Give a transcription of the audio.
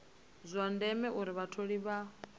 zwa ndeme uri vhatholi vha